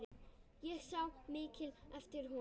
Ég sá mikið eftir honum.